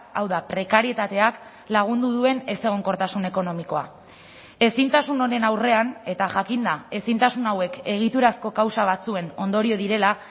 hau da prekarietateak lagundu duen ezegonkortasun ekonomikoa ezintasun honen aurrean eta jakinda ezintasun hauek egiturazko kausa batzuen ondorio direla